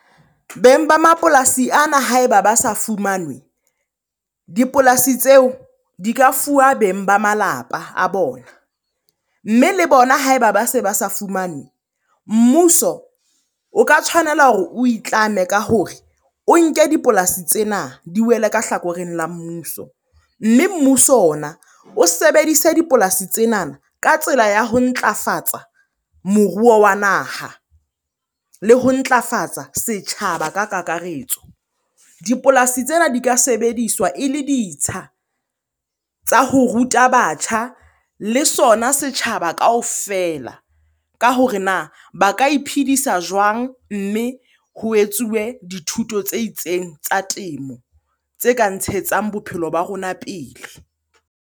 Beng ba mapolasi ana ha eba ba sa fumanwe, dipolasi tseo di ka fuwa beng ba malapa a bona. Mme le bona ha eba ba se ba sa fumane, mmuso o ka tshwanela hore o itlame ka hore o nke dipolasi tsena di wele ka hlakoreng la mmuso. Mme mmuso ona o sebedise dipolasi tsenana ka tsela ya ho ntlafatsa moruo wa naha le ho ntlafatsa setjhaba ka kakaretso. Dipolasi tsena di ka sebediswa e le ditsha tsa ho ruta batjha le sona setjhaba kaofela ka hore na ba ka iphedisa jwang? Mme ho etsuwe dithuto tse itseng tsa temo tse ka ntshetsang bophelo ba rona pele.